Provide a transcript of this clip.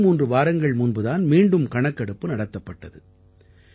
23 வாரங்கள் முன்பு தான் மீண்டும் கணக்கெடுப்பு நடத்தப்பட்டது